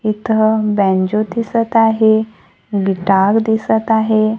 इथं बॅन्जो दिसत आहे गिटार दिसत आहे.